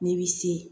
N'i bi se